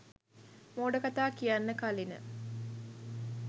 මෝඩ කතා කියන්න කලින